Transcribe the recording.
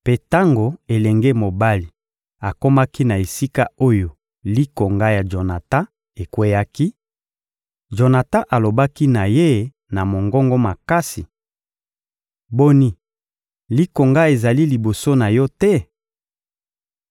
Mpe tango elenge mobali akomaki na esika oyo likonga ya Jonatan ekweyaki, Jonatan alobaki na ye na mongongo makasi: «Boni, likonga ezali liboso na yo te?»